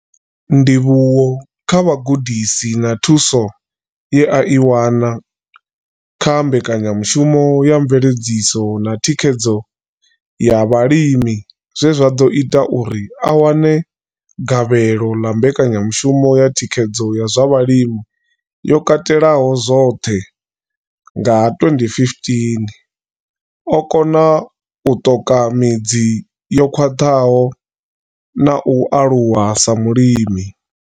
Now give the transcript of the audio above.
Ndivhuwo kha vhugudisi na thuso ye a i wana kha mbekanyamushumo ya mveledziso na thikhedzo ya vhalimi zwe zwa ḓo ita uri a wane gavhelo ḽa mbekanyamushumo ya thikhedzo ya zwa vhulimi yo katelaho zwoṱhe nga 2015, o kona u ṱoka midzi yo khwaṱhaho na u aluwa sa mulimi.